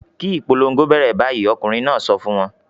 "Kí ìpolongo bẹ̀rẹ̀ báyìí!" Ọkùnrin náà sọ fún wọn.